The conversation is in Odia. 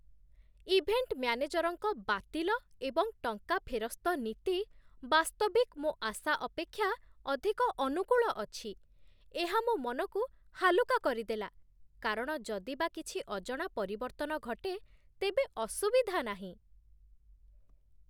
ଇଭେଣ୍ଟ ମ୍ୟାନେଜରଙ୍କ ବାତିଲ ଏବଂ ଟଙ୍କା ଫେରସ୍ତ ନୀତି ବାସ୍ତବିକ୍ ମୋ ଆଶା ଅପେକ୍ଷା ଅଧିକ ଅନୁକୂଳ ଅଛି। ଏହା ମୋ ମନକୁ ହାଲୁକା କରିଦେଲା କାରଣ ଯଦି ବା କିଛି ଅଜଣା ପରିବର୍ତ୍ତନ ଘଟେ ତେବେ ଅସୁବିଧା ନାହିଁ।